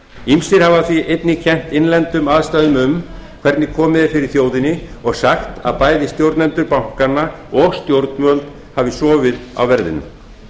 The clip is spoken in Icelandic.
ýmsir hafa því einnig kennt innlendum aðstæðum um hvernig komið er fyrir þjóðinni og sagt að bæði stjórnendur bankanna og stjórnvöld hafi sofið á verðinum